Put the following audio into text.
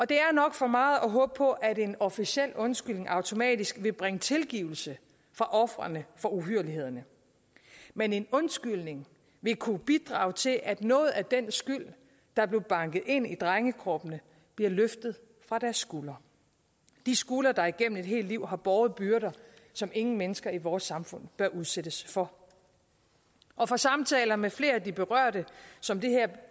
det er nok for meget at håbe på at en officiel undskyldning automatisk vil bringe tilgivelse for ofrene for uhyrlighederne men en undskyldning vil kunne bidrage til at noget af den skyld der blev banket ind i drengekroppene bliver løftet fra deres skuldre de skuldre der igennem et helt liv har båret byrder som ingen mennesker i vores samfund bør udsættes for og fra samtaler med flere af de berørte som det her